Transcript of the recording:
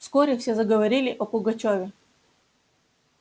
вскоре все заговорили о пугачёве